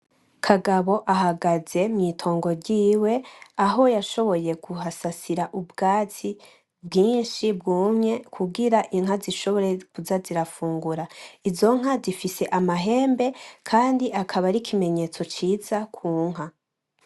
Kagabo ahagaze mw'itongo ryiwe ,aho yashoboye kuhasasira ubwatsi bwinshi bwumye kugira inka zishobore kuza zirafungura .Izo nka zifise amahembe kandi akaba ari ikimenyetso ciza ku nka.